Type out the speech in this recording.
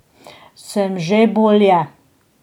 Sem že bolje.